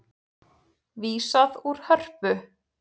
Vísað úr Hörpu